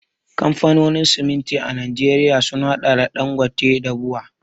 Kamfanonin siminti a Najeriya sun haɗa da Ɗangote da BUA.